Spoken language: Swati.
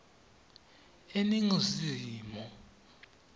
eningizimu